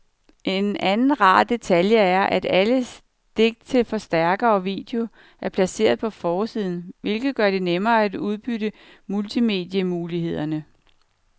En anden rar detalje er, at alle stik til forstærker og video er placeret på forsiden, hvilket gør det nemmere at udnytte multimedie-mulighederne.